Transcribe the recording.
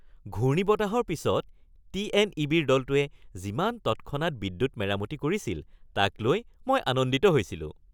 ঘূৰ্ণীবতাহৰ পিছত টি.এন.ই.বি.-ৰ দলটোৱে যিমান তৎক্ষণাৎ বিদ্যুৎ মেৰামতি কৰিছিল তাক লৈ মই আনন্দিত হৈছিলোঁ।